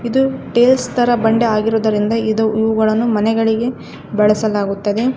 ಇದು ಥೇಲ್ಸ್ ತರ ಬಂಡೆ ಆಗಿರುವುದರಿಂದ ಇದು ಇವುಗಳನ್ನು ಮನೆಗಳಿಗೆ ಬಳಸಲಾಗುತ್ತದೆ.